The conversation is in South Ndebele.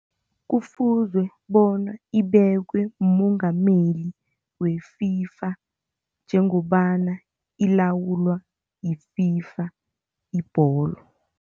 Kufuzwe bona ibekwe mummongameli we-FIFA njengobana ilawulwa yi-FIFA ibholo.